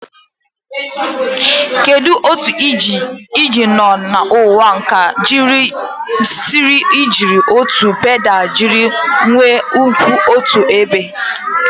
Kedu otu ị nọ n'ụwa ka ị siri jiri otu pedal jiri igwe kwụ otu ebe?